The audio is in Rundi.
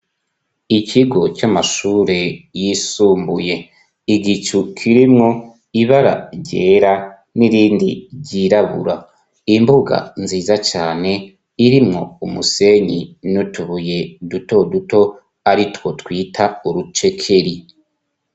Ikigo c'amashure yisumbuye, igicu kirimwo ibara ryera n'irindi ryirabura. Imbuga nziza cane irimwo umusenyi n'utubuye duto duto aritwo twita urucekeri.